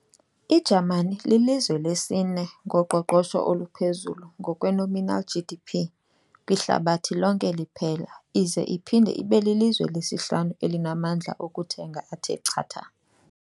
I-Jamani ililizwe lesi-ne ngoqoqosho oluphezulu ngokwe-nominal GDP kwihlabathi lonke liphela ize iphinde ibelilizwe lesihlanu elinamandla okuthenga athe chatha.